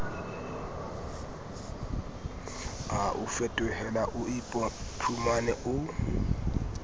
a o fetohela oiphumane o